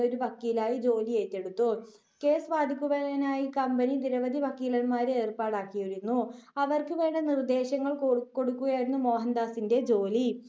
ഒരു വക്കീലായി ജോലി ഏറ്റെടുത്തു. കേസ് വാദിക്കുവാനായി കമ്പനി നിരവധി വക്കീലന്മാരെ ഏർപ്പാടാക്കിയിരുന്നു, അവർക്ക് വേണ്ട നിർദ്ദേശങ്ങൾ കൊടുക്കുകയായിരുന്നു മോഹൻ‍ദാസിന്റെ ജോലി.